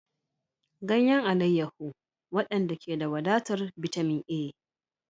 Ganyen alayyahu, waɗanda ke da wadatar bitamin A.